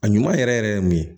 A ɲuman yɛrɛ yɛrɛ ye mun ye